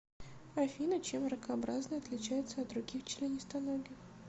афина чем ракообразные отличаются от других членистоногих